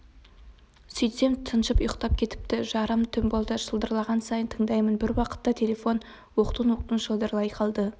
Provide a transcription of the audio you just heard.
сөйтсем тыншып ұйықтап кетіпті жарым түн болды шылдырлаған сайын тыңдаймын бір уақытта телефон оқтын-оқтын шылдырлай қалды